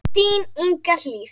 Þín Inga Hlíf.